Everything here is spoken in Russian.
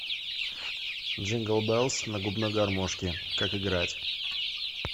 джингл белс на губной гармошке как играть